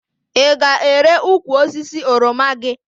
Ị ga-ere ukwu osisi oroma gị?